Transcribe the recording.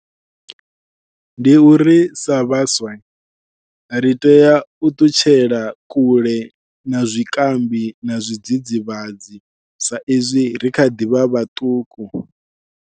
Ndi uri sa vhaswa ri tea u ṱutshela kule na zwikambi na zwidzidzivhadzi sa izwi ri kha ḓivha vhaṱuku.